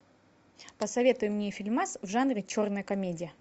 посоветуй мне фильмас в жанре черная комедия